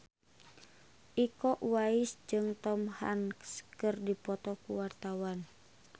Iko Uwais jeung Tom Hanks keur dipoto ku wartawan